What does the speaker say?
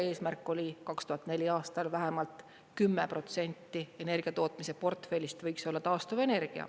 Eesmärk oli 2004. aastal vähemalt 10% energia tootmise portfellist võiks olla taastuvenergia.